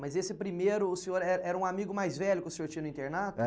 Mas esse primeiro, o senhor é era um amigo mais velho que o senhor tinha no internato?